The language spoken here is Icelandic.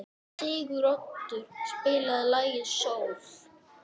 Siguroddur, spilaðu lagið „Sól“.